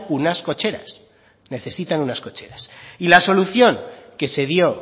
unas cocheras necesitan unas cocheras y la solución que se dio